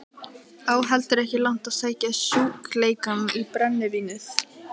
Á heldur ekki langt að sækja sjúkleikann í brennivínið.